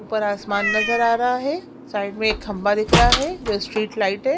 ऊपर आसमान नजर आ रहा है साइड में एक खम्बा दिख रहा है जो स्ट्रीट लाइट है।